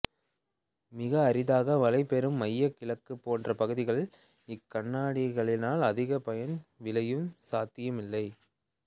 மிக அரிதாக மழை பெறும் மையக் கிழக்குப் போன்ற பகுதிகளில் இக்கண்ணாடிகளினால் அதிக பயன் விளையும் சாத்தியம் இல்லை